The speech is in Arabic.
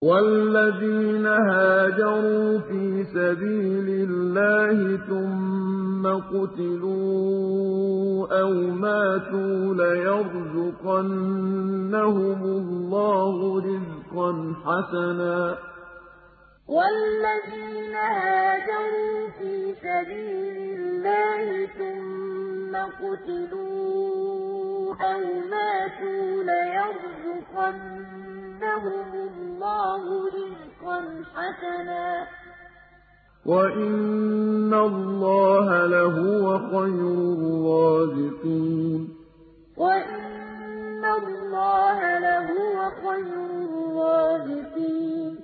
وَالَّذِينَ هَاجَرُوا فِي سَبِيلِ اللَّهِ ثُمَّ قُتِلُوا أَوْ مَاتُوا لَيَرْزُقَنَّهُمُ اللَّهُ رِزْقًا حَسَنًا ۚ وَإِنَّ اللَّهَ لَهُوَ خَيْرُ الرَّازِقِينَ وَالَّذِينَ هَاجَرُوا فِي سَبِيلِ اللَّهِ ثُمَّ قُتِلُوا أَوْ مَاتُوا لَيَرْزُقَنَّهُمُ اللَّهُ رِزْقًا حَسَنًا ۚ وَإِنَّ اللَّهَ لَهُوَ خَيْرُ الرَّازِقِينَ